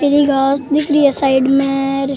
पिली घास दिख री है साइड में।